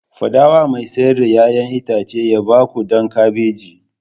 Faɗa wa mai siyar da 'ya'yan itace ya ba ku ɗan kabeji!